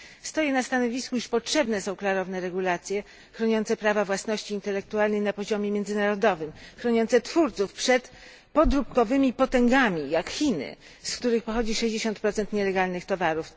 Stoję na stanowisku, iż potrzebne są klarowne regulacje chroniące prawa własności intelektualnej na poziomie międzynarodowym, chroniące twórców przed podróbkowymi potęgami jak Chiny, z których pochodzi 60 nielegalnych towarów.